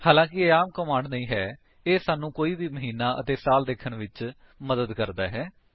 ਹਾਲਾਂਕਿ ਇਹ ਆਮ ਕਮਾਂਡ ਨਹੀਂ ਹੈ ਇਹ ਸਾਨੂੰ ਕੋਈ ਵੀ ਮਹੀਨਾ ਅਤੇ ਸਾਲ ਦੇਖਣ ਵਿੱਚ ਮਦਦ ਕਰਦਾ ਹੈ